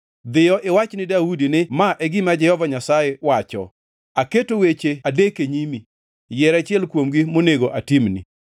“Dhiyo iwach ni Daudi ni, ‘Ma e gima Jehova Nyasaye wacho: Aketo weche adek e nyimi. Yier achiel kuomgi monego atimni.’ ”